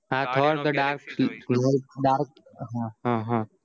thor the dark dark હા હા